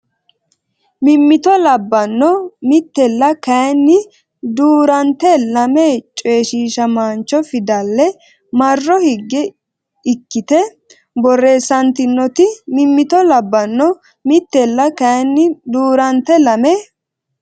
Mimmito labbanno Mittella kayinni duu rante lame coyshiishamaancho fidale marro higge ikkite borreessantanoti Mimmito labbanno Mittella kayinni duu rante lame.